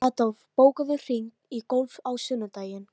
Adolf, bókaðu hring í golf á sunnudaginn.